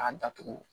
A datugu